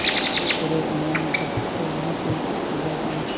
उसी तरह उन्होंने झपट कर लालटेन को बुझा दिया